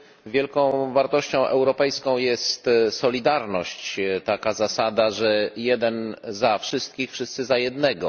Wielką wartością europejską jest solidarność taka zasada, że jeden za wszystkich, wszyscy za jednego.